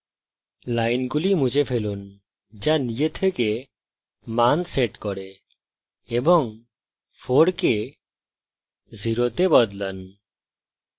লাইনগুলি মুছে ফেলুন যা নিজে থেকে মান set করে এবং 4 কে 0 তে বদলান